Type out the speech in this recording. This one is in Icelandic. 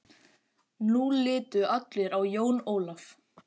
Nú litu allir á Jón Ólaf.